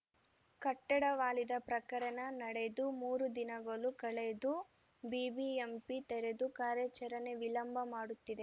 ಕಟ್ಟಡ ವಾಲಿದ ಪ್ರಕರಣ ನಡೆದು ಮೂರು ದಿನಗಳು ಕಳೆದು ಬಿಬಿಎಂಪಿ ತೆರೆದು ಕಾರ್ಯಾಚರಣೆ ವಿಳಂಬ ಮಾಡುತ್ತಿದೆ